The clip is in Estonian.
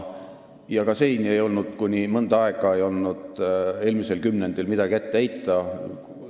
Ka siin ei olnud mõnda aega, eelmisel kümnendil midagi ette heita.